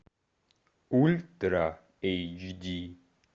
ультра эйч ди